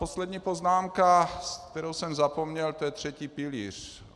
Poslední poznámka, kterou jsem zapomněl, to je třetí pilíř.